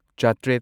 ꯆꯥꯇ꯭꯭ꯔꯦꯠ